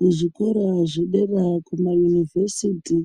Muzvikora zvedera kumaunivhesiti